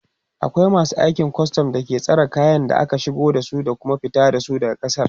akwai masu aikin custom da suke tsare kayan da ake shigowa da Kuma fita da shi daga kasar